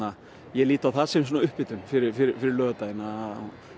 ég lít á það sem upphitun fyrir fyrir laugardaginn